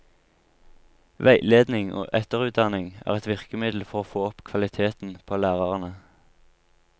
Veiledning og etterutdanning er et virkemiddel for å få opp kvaliteten på lærerne.